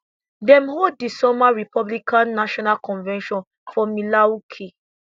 dem hold di summer republican national convention for milwaukee